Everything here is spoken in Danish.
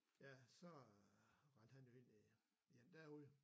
Ja så rendte han jo ind i i en derude